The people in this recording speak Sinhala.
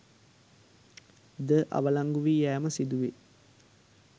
ද අවලංගුවී යෑම සිදුවේ